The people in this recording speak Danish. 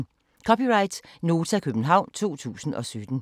(c) Nota, København 2017